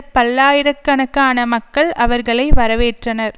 பல்லாயிர கணக்கான மக்கள் அவர்களை வரவேற்றனர்